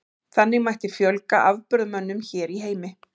Þannig mætti fjölga afburðamönnum hér í heimi.